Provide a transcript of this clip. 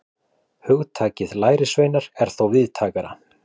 Hugtakið lærisveinar er þó víðtækara.